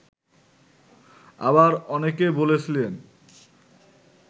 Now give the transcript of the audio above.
আবার অনেকে বলেছিলেন